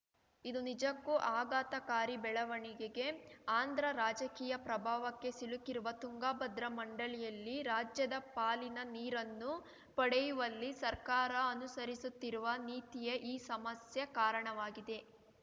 ಇದು ನಿಜಕ್ಕೂ ಆಘಾತಕಾರಿ ಬೆಳವಣಿಗೆಗೆ ಆಂಧ್ರ ರಾಜಕೀಯ ಪ್ರಭಾವಕ್ಕೆ ಸಿಲುಕಿರುವ ತುಂಗಭದ್ರಾ ಮಂಡಳಿಯಲ್ಲಿ ರಾಜ್ಯದ ಪಾಲಿನ ನೀರನ್ನು ಪಡೆಯುವಲ್ಲಿ ಸರ್ಕಾರ ಅನುಸರಿಸುತ್ತಿರುವ ನೀತಿಯೇ ಈ ಸಮಸ್ಯೆ ಕಾರಣವಾಗಿದೆ